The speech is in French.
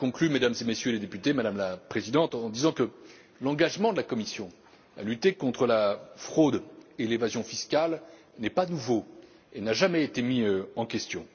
Madame la Présidente, je conclus en disant que l'engagement de la Commission à lutter contre la fraude et l'évasion fiscales n'est pas nouveau et n'a jamais été mis en question.